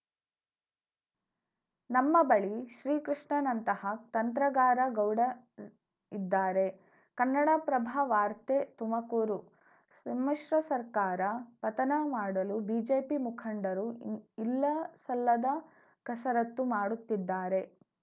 ನಮ್ಮ ಬಳಿ ಶ್ರೀಕೃಷ್ಣನಂತಹ ತಂತ್ರಗಾರ ಗೌಡ ಇದ್ದಾರೆ ಕನ್ನಡಪ್ರಭ ವಾರ್ತೆ ತುಮಕೂರು ಸಮ್ಮಿಶ್ರ ಸರ್ಕಾರ ಪತನ ಮಾಡಲು ಬಿಜೆಪಿ ಮುಖಂಡರು ಇಲ್ಲಸಲ್ಲದ ಕಸರತ್ತು ಮಾಡುತ್ತಿದ್ದಾರೆ